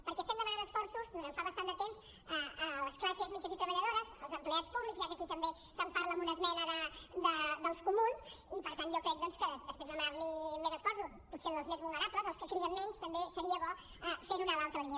perquè estem demanant esforços durant fa bastant de temps a les classes mitjanes i treballadores als empleats públics ja que aquí també se’n parla en una esmena dels comuns i per tant jo crec doncs que després de demanar li més esforços potser als més vulnerables als que criden menys també seria bo fer ho en l’altra línia